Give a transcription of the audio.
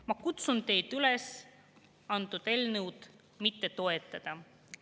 Ma kutsun teid üles seda eelnõu mitte toetama.